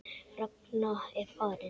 Ragna er farin.